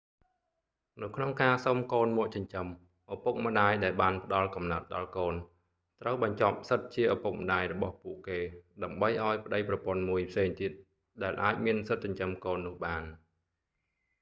នៅក្នុងការសុំកូនមកចិញ្ចឹម ឪពុកម្តាយដែលបានផ្ដល់កំណើតដល់កូនត្រូវបញ្ចប់សិទ្ធិជាឪពុកម្តាយរបស់ពួកគេ ដើម្បីឲ្យប្តីប្រពន្ធមួយផ្សេងទៀតអាចមានសិទ្ធិចិញ្ចឹមកូននោះបាន